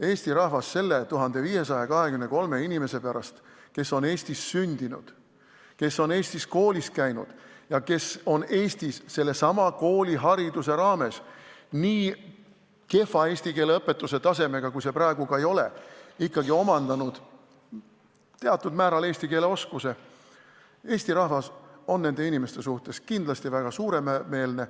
Eesti rahvas on nende 1523 inimese suhtes, kes on Eestis sündinud, kes on Eestis koolis käinud ja kes on Eestis sellesama koolihariduse raames hoolimata nii kehvast eesti keele õpetamise tasemest, kui see praegu ka ei ole, ikkagi omandanud teatud määral eesti keele oskuse, kindlasti väga suuremeelne.